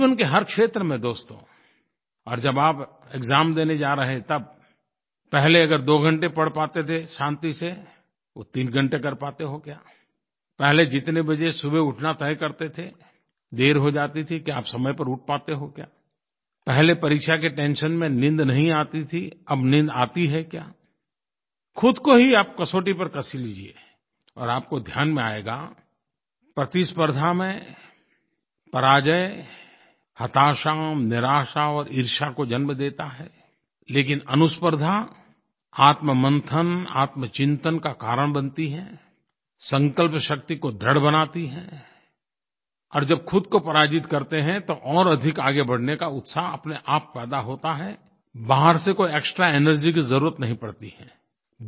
जीवन के हर क्षेत्र में दोस्तो और जब आप एक्साम देने जा रहे हैं तब पहले अगर दो घंटे पढ़ पाते थे शान्ति से वो तीन घंटे कर पाते हो क्या पहले जितने बजे सुबह उठना तय करते थे देर हो जाती थी क्या अब समय पर उठ पाते हो क्या पहले परीक्षा की टेंशन में नींद नहीं आती थी अब नींद आती है क्या ख़ुद को ही आप कसौटी पर कस लीजिए और आपको ध्यान में आएगा प्रतिस्पर्द्धा में पराजय हताशा निराशा और ईर्ष्या को जन्म देती है लेकिन अनुस्पर्द्धा आत्मंथन आत्मचिंतन का कारण बनती है संकल्प शक्ति को दृढ़ बनाती है और जब ख़ुद को पराजित करते हैं तो और अधिक आगे बढ़ने का उत्साह अपनेआप पैदा होता है बाहर से कोई एक्सट्रा एनर्जी की ज़रूरत नहीं पड़ती है